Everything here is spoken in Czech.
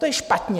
To je špatně.